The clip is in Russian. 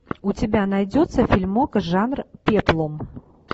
у тебя найдется фильмок жанр пеплум